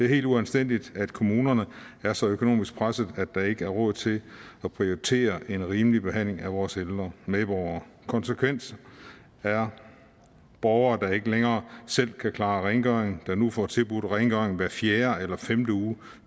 helt uanstændigt at kommunerne er så økonomisk presset at der ikke er råd til at prioritere en rimelig behandling af vores ældre medborgere konsekvensen er at borgere der ikke længere selv kan klare rengøring nu får tilbudt rengøring hver fjerde eller femte uge